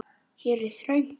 Hér er þröngt.